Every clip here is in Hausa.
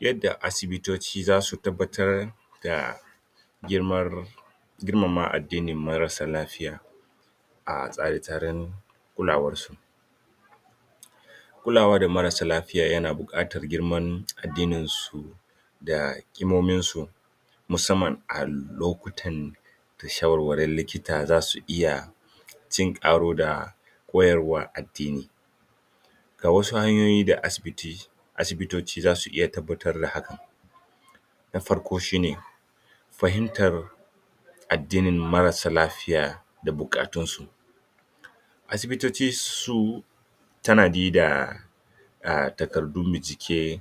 yadda asibitoci zasu tabbatar da girmar girmama addinin marasa lafiya a tsare tsaren kulawar su kulawa da marasa lafiya yana bukatar girman addinin su kimomin su musamman a lokutan da shawarwarin likita zasu iya cin karo da koyarwar addini ga wasu hanyoyi da asibiti asibitoci zasu iya tabbatar da haka na farko shine fahimtar addinin marasa lafiya da bukatun su asibitoci suyi tanadi da takardun bincike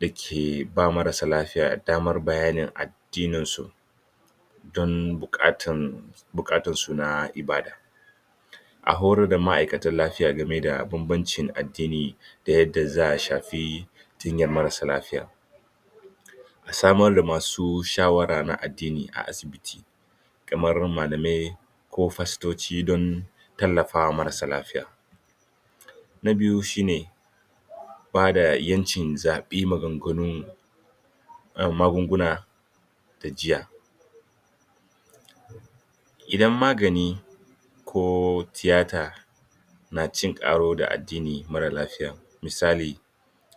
dake ba marasa lafiya damar bayanin addinin su don bukatan su na ibada a horar da ma'aikatan lafiya game da bambancin addini da yadda za'a shafi jinyar marasa lafiya a samar da masu shawara na addini a asibiti kamar malamai ko pastoci don tallafawa marasa lafiya na biyu shine bada yancin zabi maganganu ehm magunguna da jiyya idan magani ko tiyata na cin karo da addinin marar lafiya misali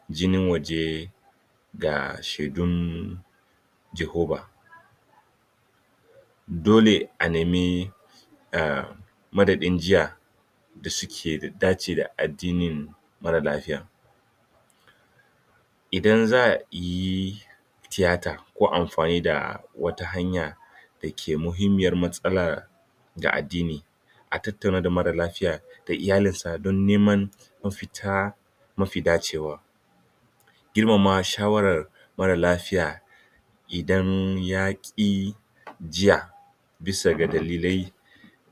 jinin waje ga shaidun jihoba dole a nemi ehm madadin jiya da suke da dace da addinin marar lafiyan idan za'ayi tiyata ko amfani da wata hanya da mahimmiyar matsala ga addini a tattauna da marar lafiyar da iyalin sa don neman mafita mafi dacewa girmama shawarar marar lafiya idan yaki jiya bisa ga dalilai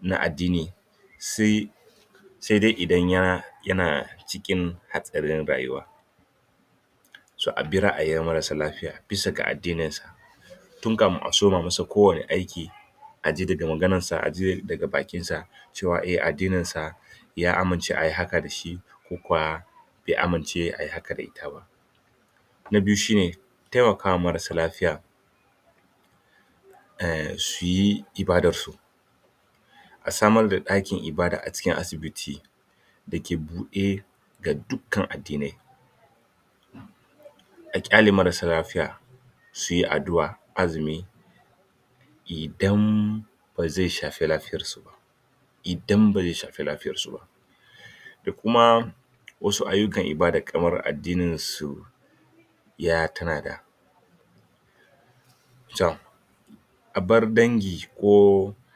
na addini sai dai ya yana cikin hatsarin rayuwa to abi ra'ayin marasa lafiya bisa ga addinin sa tun kafin a soma masa ko wane aiki aji daga maganar sa aji daga bakin sa cewa eh addinin sa ya amince eh ayi haka da shi ko kuwa bai amince ai haka dashi ba na biyu shine taimakawa marasa lafiya a samar da dakin ibada a cikin asibiti dake bude ga dukan addinai a kyale marasa lafiya suyi addu'a azumi idan bazai shafi lafiyar su ba idan bazai shafi lafiyar su ba da kuma wasu ayukan ibadai kamar addinin su ya tanada to abar dangi ko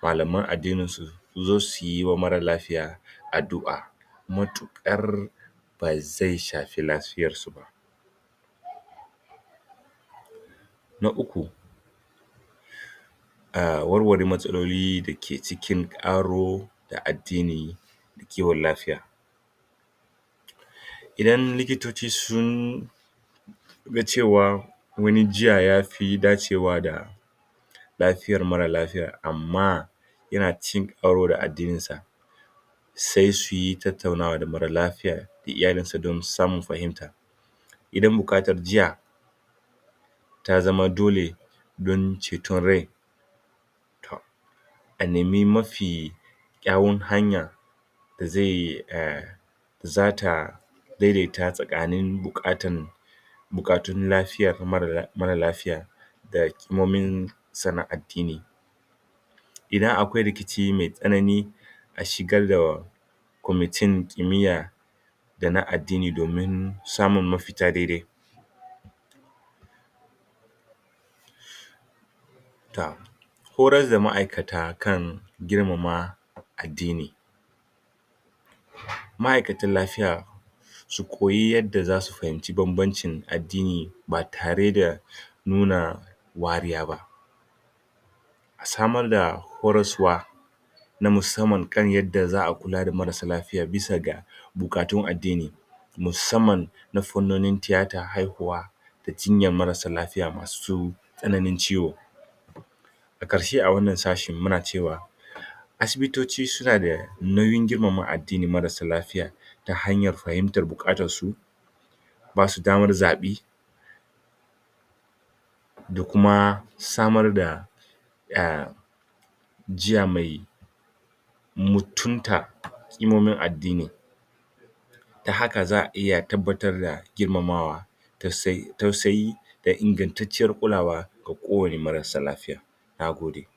malaman addini suzo suyi ma marasa lafiya daddu'a matukar bazai shafi lafiyar su ba na ukku a warware matsaloli dake cin karo da addini da kiwon lafiya idan likitoci sun ga cewa wani jiyya yafi dacewa da lafiyar marar lafiyar amma yana cin karo da addinin sa sai suyi tattaunawa da marar lafiya ko iyalinsa domin su samu fahimta idan bukatar jiyya ta zama dole don ceton rai toh a nemi mafi kyawun hanya da zai zata daida ta tsakanin bukatan bukatun lafiyan marar lafiyar da kimomin sa na addini idan akwai rikici mai tsanani ashigar da komitin kimiyya dana addini domin samun mafita dai dai toh horar da ma'aikata kan girmama addini ma'aikatan lafiya su koyi yadda zasu fahimci bambancin addini ba tare da nuna wariya ba samar da horaswa ta musamman kan yarda za'a kula da marasa lafiyan bisa ga bukatun addini musamman na fannonin tiyata haihuwa da jinyar marasa lafiya masu tsananin ciwo karshe a wannan sashen mana cewa asibitoci suna da nauyin girmama addinin marasa lafiya da hanyar fahimtar bukatar su basu damar zabi da kuma samar da ehm jiya mai muttunta kimomin addini ta haka za'a iya tabbatar da girmamawa tausayi da ingantacciyar kulawa ga kowane marasa lafiya na gode